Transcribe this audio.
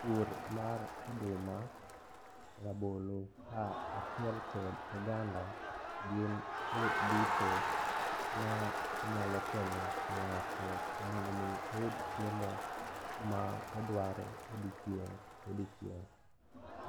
Pur mar oduma, rabolo ka achiel kod oganda gin pur duto ma nyalo konyo ng'ato mondo omi oyud chiemo ma odwaro odiochieng' kodiochieng'.